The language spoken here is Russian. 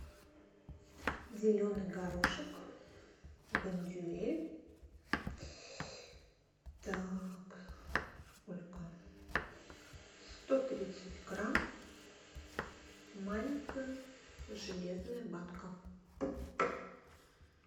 зеленый горошек бондюэль так сколько сто тридцать грамм маленькая железная банка